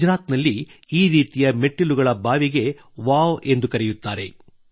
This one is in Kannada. ಗುಜರಾತಿನಲ್ಲಿ ಈ ರೀತಿಯ ಮೆಟ್ಟಿಲುಗಳ ಬಾವಿಗೆ ವಾವ್ ಎಂದು ಕರೆಯುತ್ತಾರೆ